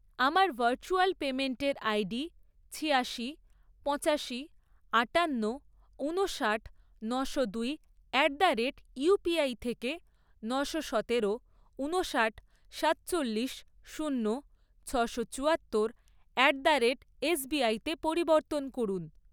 আমার ভার্চুয়াল পেমেন্টের আইডি ছিয়াশি, পঁচাশি, আটান্ন, ঊনষাট, নশো দুই অ্যাট দ্য রেট ইউপিআই থেকে নশো সতেরো, ঊনষাট, সাতচল্লিশ, শূন্য, ছশো চুয়াত্তর অ্যাট দ্য রেট এসবিআই তে পরিবর্তন করুন।